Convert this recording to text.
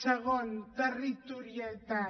segon territorialitat